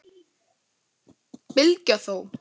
Bylgja þó!